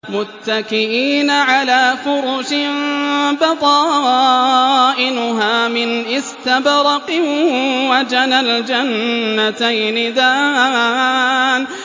مُتَّكِئِينَ عَلَىٰ فُرُشٍ بَطَائِنُهَا مِنْ إِسْتَبْرَقٍ ۚ وَجَنَى الْجَنَّتَيْنِ دَانٍ